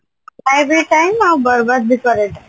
ଖାଇବା ପିଇବା time ଆଉ ବରବାଦ ବି କରେ time